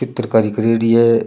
चित्रकारी करेड़ी है।